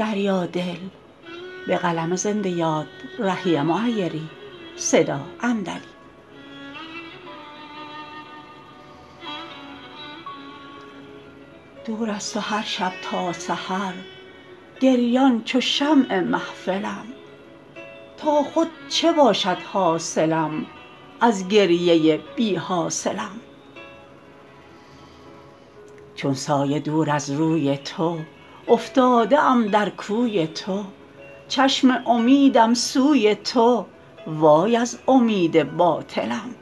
دور از تو هرشب تا سحر گریان چو شمع محفلم تا خود چه باشد حاصلی از گریه بی حاصلم چون سایه دور از روی تو افتاده ام در کوی تو چشم امیدم سوی تو وای از امید باطلم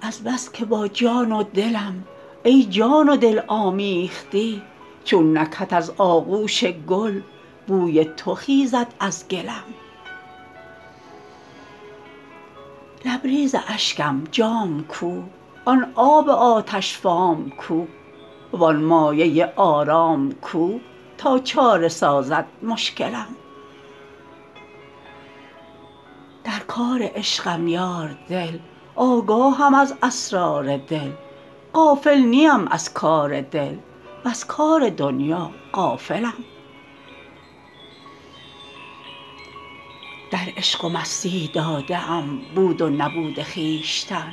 از بس که با جان و دلم ای جان و دل آمیختی چون نکهت از آغوش گل بوی تو خیزد از گلم لبریز اشکم جام کو آن آب آتش فام کو وآن مایه آرام کو تا چاره سازد مشکلم در کار عشقم یار دل آگاهم از اسرار دل غافل نیم از کار دل وز کار دنیا غافلم در عشق و مستی داده ام بود و نبود خویشتن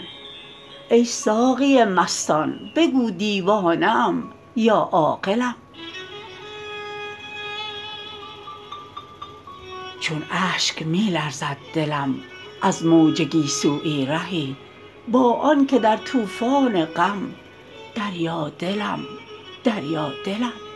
ای ساقی مستان بگو دیوانه ام یا عاقلم چون اشک می لرزد دلم از موج گیسویی رهی با آن که در طوفان غم دریا دلم دریادلم